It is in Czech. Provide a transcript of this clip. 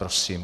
Prosím.